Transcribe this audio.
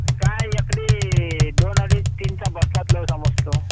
काय एकादी दोन अडीच तीनचा